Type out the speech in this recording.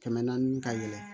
Kɛmɛ naani ka yɛlɛn